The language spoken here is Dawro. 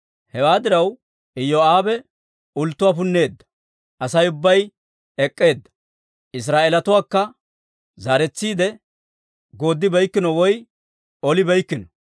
Hewaa diraw, Iyoo'aabe ulttuwaa punneedda; Asay ubbay ek'k'eedda. Israa'eelatuwaakka zaaretsiide yedersibeykkino woy olibeykkino.